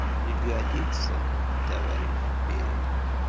не годится товарищ берия